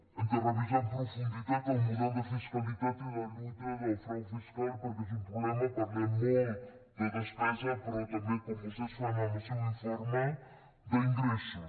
hem de revisar amb profunditat el model de fiscalitat i de lluita del frau fiscal perquè és un problema parlem molt de despesa però també com vostès fan en el seu informe d’ingressos